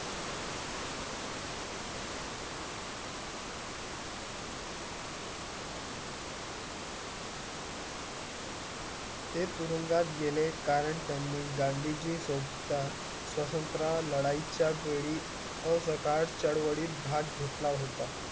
तो तुरंगात गेले करण त्यानी गांधी जी लाडाई चया वेडी कार्ड चडवाली घाटला होता